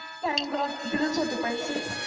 thank god तिथेच होते पैसे.